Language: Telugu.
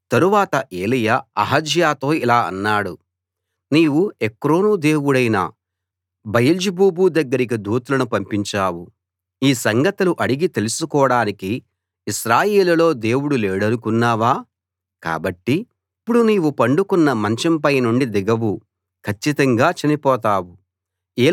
తరువాత ఎలీయా అహజ్యాతో ఇలా అన్నాడు నీవు ఎక్రోను దేవుడైన బయల్జెబూబు దగ్గరికి దూతలను పంపించావు ఈ సంగతులు అడిగి తెలుసుకోడానికి ఇశ్రాయేలులో దేవుడు లేడనుకున్నావా కాబట్టి ఇప్పుడు నీవు పండుకున్న మంచం పైనుండి దిగవు కచ్చితంగా చనిపోతావు